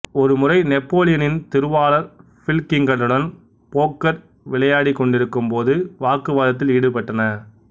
ஒருமுறை நெப்போலியனும் திருவாளர் பில்கிங்டனும் போக்கர் விளையாடிக்கொண்டிருக்கும் போது வாக்குவாதத்தில் ஈடுபட்டன